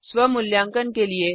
स्व मूल्यांकन के लिए